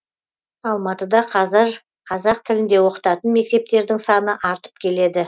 алматыда қазір қазақ тілінде оқытатын мектептердің саны артып келеді